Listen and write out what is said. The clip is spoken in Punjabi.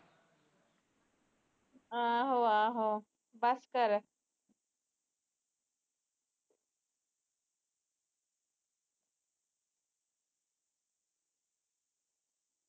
ਆਹੋ ਆਹੋ ਬਸ ਕਰ